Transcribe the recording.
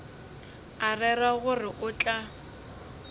a rera gore o tla